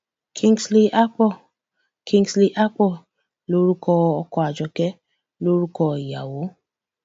cs] kingsley akpor kingsley akpor lorúkọ ọkọ àjọké lórúkọ ìyàwó